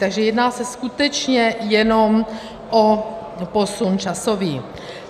Takže jedná se skutečně jenom o posun časový.